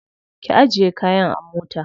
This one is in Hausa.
Ki ajiye kayan a mota.